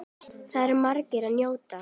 Þar er margs að njóta.